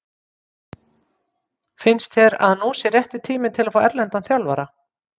Finnst þér að nú sé rétti tíminn til að fá erlendan þjálfara?